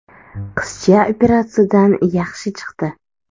Qizcha operatsiyadan yaxshi chiqdi.